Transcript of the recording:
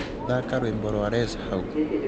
thaka rwīmbo rwa Les hau